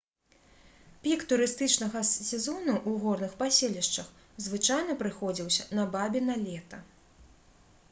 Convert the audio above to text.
пік турыстычнага сезону ў горных паселішчах звычайна прыходзіўся на бабіна лета